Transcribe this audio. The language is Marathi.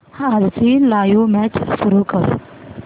आजची लाइव्ह मॅच सुरू कर